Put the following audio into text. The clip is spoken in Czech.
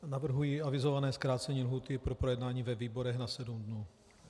Navrhuji avizované zkrácení lhůty pro projednání ve výborech na sedm dní.